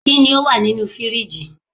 Kini o wa ninu firiji?